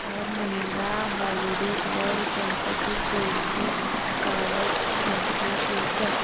club Mahindra holidays वर गणपतीपुळे ची travel info show कर